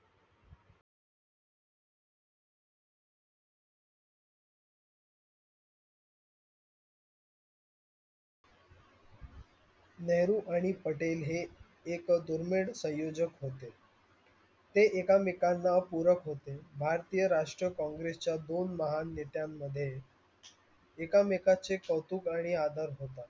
नेहरू आणि पटेल एक दुडमिड सयोजक होते ते एकमेकाना पुरत होते. भारतीय राष्ट्र कॉँग्रेसच्या दोन महान नेत्यान मध्ये एकामेकचे कौतुक आणि आदर होततात.